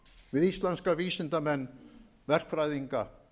við íslenska vísindamenn verkfræðinga